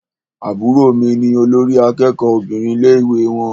Àbúrò mí ní olórí àkẹ́kọ̀ọ Obìnrin ní ilé ìwé wọn.